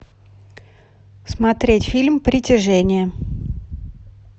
смотреть фильм притяжение